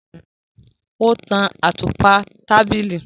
O tàn àtùpà tábìlì